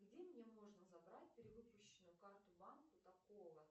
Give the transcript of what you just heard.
где мне можно забрать перевыпущенную карту банка такого